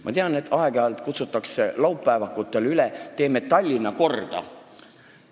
Ma tean, et aeg-ajalt kutsutakse laupäevakutel üles, et teeme Tallinna korda.